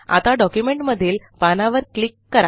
आता डॉक्युमेंटमधील पानावर क्लिक करा